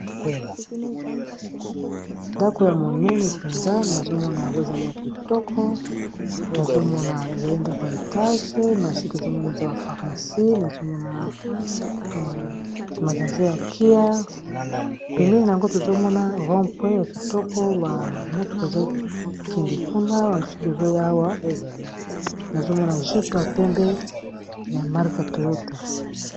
Ndako ya monene mpenza nazomona yango ezali ya kitoko, nazomona ezali ndako ya etage na se tozomonaza ba pharmacie nazomona magaze ya kia pemeli na yango tozomona rom pre ya kitoko ya motoka ezokende kuna ya mosusu ezoya awa nazomona jype ya pembe ya marka toyota.